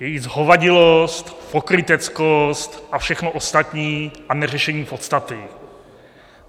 Její zhovadilost, pokryteckost a všechno ostatní a neřešení podstaty.